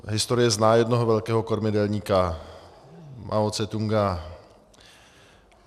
Historie zná jednoho velkého kormidelníka, Mao Ce-tung.